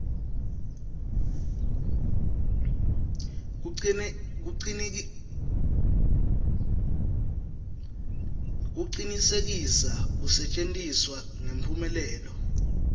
kucinisekisa kusetjentiswa ngemphumelelo